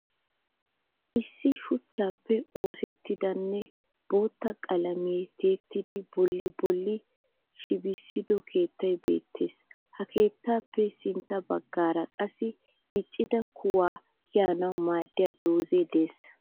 Issi shuchchappe oosettidanne bootta qalamiyan tiyettida bolli-bolli shibisido keettay beettees. Ha keettappe sintta baggaara qassi diccida kuwa kiyanawu maadiya dozay de'ees.